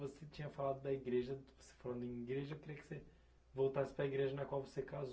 Você tinha falado da igreja... Você falando em igreja, eu queria que você voltasse para igreja na qual você casou.